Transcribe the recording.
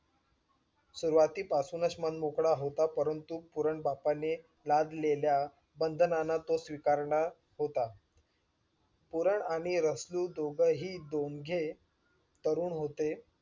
सुरवाती पासूनच मनमोकळा होता परंतु पुरण बापाने लादलेल्या बंधनांना तो स्वीकारणा होता पूरण आणि रसलू दोघंही दोघे तरुण होते